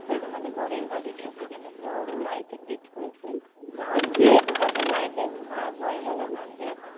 তোমাদের বরের গাড়ি তা সেখানে বড়ো light এর gate করেছে ওটা কে light এর subway বলে না